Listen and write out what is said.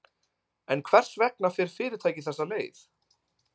En hvers vegna fer fyrirtækið þessa leið?